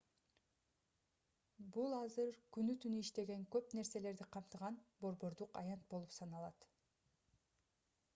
бул азыр күнү-түнү иштеген көп нерселерди камтыган борбордук аянт болуп саналат